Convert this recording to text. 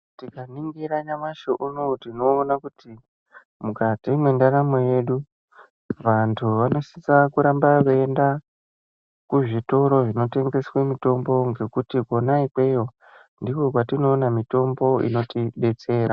Tikaningira nyamashi unowu, tinoona kuti mukati mendaramo yedu, vantu vanosisa kuramba veyienda kuzvitoro zvinotengeswa mitombo, ngekuti kona ikweyo, ndiko kwatinoona mitombo inotidetsera.